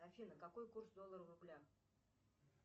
афина какой курс доллара в рублях